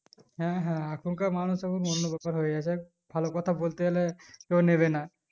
হ্যাঁ হ্যাঁ এখন কার মানুষ এখন অন্য ব্যাপার হয়ে গেছে ভালো কথা বলতে গেলে তো নেবে না